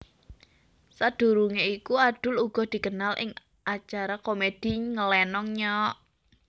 Sadurungé iku Adul uga dikenal ing acara komedi Ngelenong Nyok